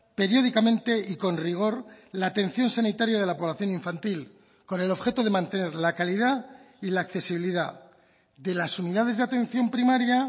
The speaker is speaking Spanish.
periódicamente y con rigor la atención sanitaria de la población infantil con el objeto de mantener la calidad y la accesibilidad de las unidades de atención primaria